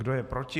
Kdo je proti?